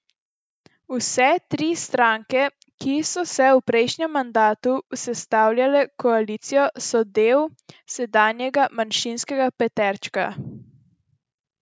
Vse tri stranke, ki so v prejšnjem mandatu sestavljale koalicijo, so del sedanjega manjšinskega peterčka.